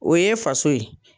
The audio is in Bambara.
O ye faso ye.